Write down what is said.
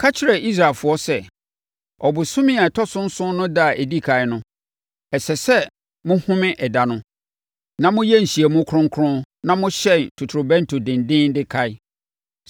“Ka kyerɛ Israelfoɔ sɛ: ‘Ɔbosome a ɛtɔ so nson no ɛda a ɛdi ɛkan no, ɛsɛ sɛ mohome ɛda no, na moyɛ nhyiamu kronkron na mohyɛn totorobɛnto dendeenden de kae.